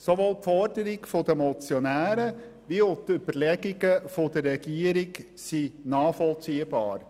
Sowohl die Forderungen der Motionäre als auch die Überlegungen der Regierung sind nachvollziehbar.